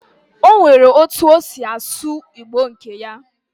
Onwere otu osi asu Igbo nke ya